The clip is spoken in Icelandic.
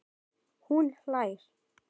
Hún hlær.